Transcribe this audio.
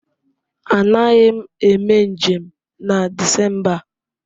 Anaghị m eme njem na Disemba a.